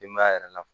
Denbaya yɛrɛ la